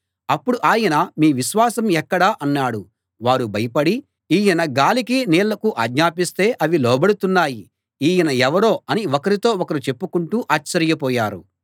అప్పుడు ఆయన మీ విశ్వాసం ఎక్కడ అన్నాడు వారు భయపడి ఈయన గాలికీ నీళ్లకూ ఆజ్ఞాపిస్తే అవి లోబడుతున్నాయి ఈయన ఎవరో అని ఒకరితో ఒకరు చెప్పుకుంటూ ఆశ్చర్యపోయారు